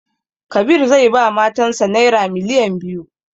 Kabir zai ba matan sa naira miliyan biyu